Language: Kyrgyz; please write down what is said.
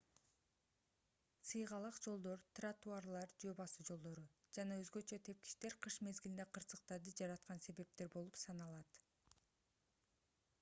сыйгалак жолдор тротуарлар жөө басуу жолдору жана өзгөчө тепкичтер кыш мезгилинде кырсыктарды жараткан себептер болуп саналат